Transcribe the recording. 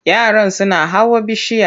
Yaran suna hawa bishiya.